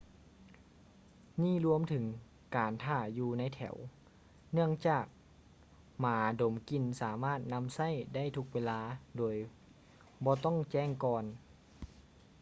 ນີ້ລວມເຖິງການຖ້າຢູ່ໃນແຖວ ເນື່ອງຈາກໝາດົມກິ່ນສາມາດນຳໃຊ້ໄດ້ທຸກເວລາໂດຍບໍ່ຕ້ອງແຈ້ງກ່ອນ